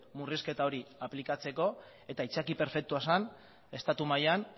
murrizketa hori aplikatzeko eta aitzaki perfektua zen estatu mailan